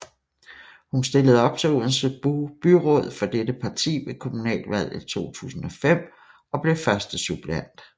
Hun stillede op til Odense Byråd for dette parti ved kommunalvalget 2005 og blev førstesuppleant